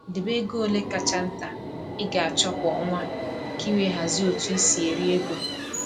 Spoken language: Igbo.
Debe ego ole kacha nta ị ga-achọ kwa ọnwa ka i wee hazie otu i si eri ego